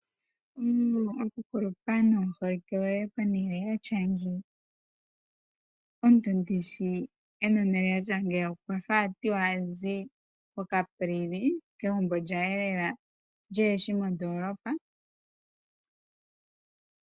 Okukulupa nomuholike give pehala pwatya ngeyi. omuntu ndishi hazi pehala pwatya ngeyi okwafa ati